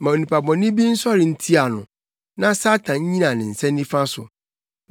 Ma onipa bɔne bi nsɔre ntia no; na Satan nnyina ne nsa nifa so.